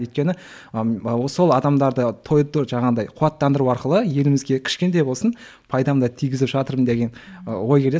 өйткені ыыы сол адамдарды жаңағыдай қуаттандыру арқылы елімізге кішкентай болсын пайдамды тигізіп жатырмын деген ы ой келеді